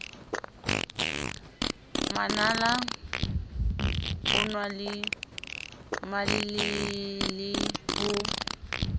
manala onaa le malelele ho